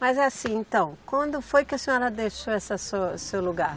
Mas assim, então, quando foi que a senhora deixou essa sua, seu lugar?